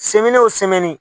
Sɛmɛni o sɛmɛni